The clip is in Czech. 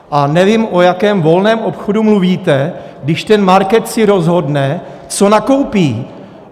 A nevím, o jakém volném obchodu mluvíte, když ten market si rozhodne, co nakoupí.